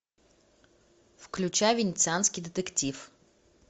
включай венецианский детектив